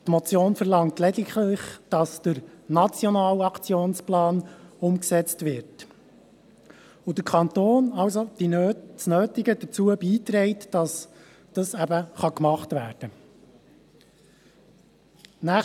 Die Motion verlangt lediglich, dass der Nationale Aktionsplan umgesetzt wird, und dass der Kanton eben das Nötige dazu beiträgt, damit das getan werden kann.